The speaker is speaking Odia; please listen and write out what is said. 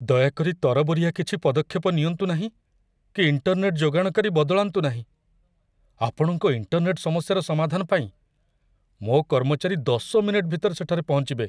ଦୟାକରି ତରବରିଆ କିଛି ପଦକ୍ଷେପ ନିଅନ୍ତୁ ନାହିଁ କି ଇଣ୍ଟର୍‌ନେଟ୍ ଯୋଗାଣକାରୀ ବଦଳାନ୍ତୁ ନାହିଁ, ଆପଣଙ୍କ ଇଣ୍ଟର୍‌ନେଟ୍ ସମସ୍ୟାର ସମାଧାନ ପାଇଁ ମୋ କର୍ମଚାରୀ ଦଶ ମିନିଟ ଭିତରେ ସେଠାରେ ପହଞ୍ଚିବେ।